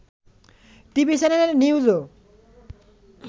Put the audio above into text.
TV চ্যানেলের নিউজও